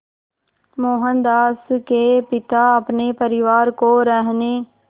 मोहनदास के पिता अपने परिवार को रहने